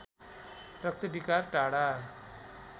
रक्त विकार टाढा